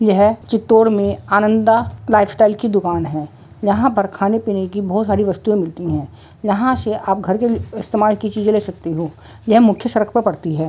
यह चित्तोर में अनंदा लाइफस्टाइल की दुकान है यहाँ पर खाने पीने की बोहत सारी वस्तुऐं मिलती है|